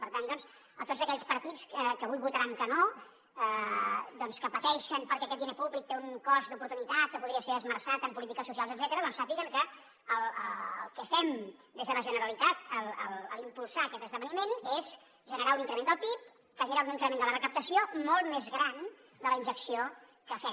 per tant doncs tots aquells partits que avui votaran que no que pateixen perquè aquest diner públic té un cost d’oportunitat que podria ser esmerçat en polítiques socials etcètera sàpiguen que el que fem des de la generalitat a l’impulsar aquest esdeveniment és generar un increment del pib que genera un increment de la recaptació molt més gran de la injecció que fem